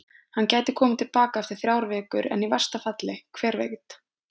Hann gæti komið til baka eftir þrjár vikur en í versta falli, hver veit?